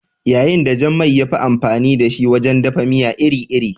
Yayin da jan man ya fi amfani da shi wajen dafa miya iri-iri